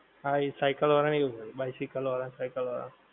હા ઈ cycle વાળા ને એવું હોએ bicycle વાળા cycle વાળા